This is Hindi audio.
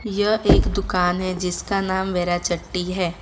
यह एक दुकान है जिसका नाम वेराचट्टी है।